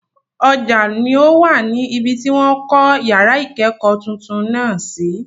Ọjà ni o wà ní ibi tí wọ́n kọ́ yàrá ìkẹ́kọ̀ọ́ tuntun náà sí.